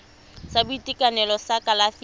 sa boitekanelo sa kalafi ya